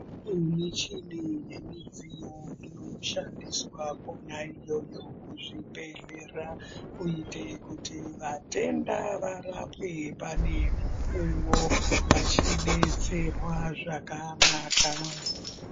Kune michini nemidziyo inoshandiswa ikwona iyoyo kuzvibhedhlera kuite kuti vatenda varapwe pane mukuwo vachidetserwa zvakanaka.